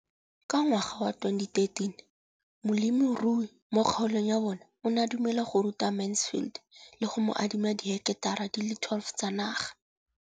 Ka ngwaga wa 2013, molemirui mo kgaolong ya bona o ne a dumela go ruta Mansfield le go mo adima di heketara di le 12 tsa naga.